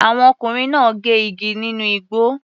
Àwọn ọkùnrin náà gé igi nínú igbó.